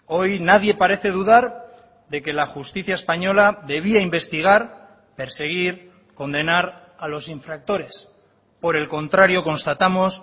hoy nadie parece dudar de que la justicia española debía investigar perseguir condenar a los infractores por el contrario constatamos